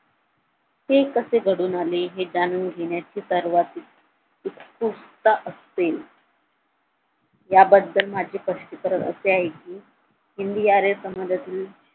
हे कसे घडून आले हे जाणून घेण्याचे सर्वात उत्सुकता असते याबद्दल माझे स्पष्टीकरण असे आहे कि हिंदी आर्य समाजातील